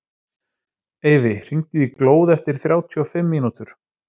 Eyfi, hringdu í Glóð eftir þrjátíu og fimm mínútur.